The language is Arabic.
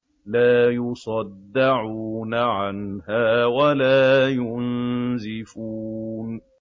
لَّا يُصَدَّعُونَ عَنْهَا وَلَا يُنزِفُونَ